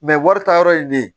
wari ta yɔrɔ ye ne ye